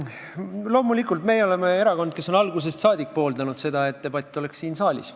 Loomulikult, meie oleme erakond, kes on algusest saadik pooldanud seda, et debatt toimuks siin saalis.